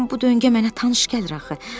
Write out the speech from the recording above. Deyəsən bu döngə mənə tanış gəlir axı.